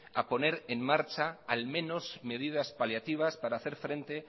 a poner en marcha al menos medidas paliativas para hacer frente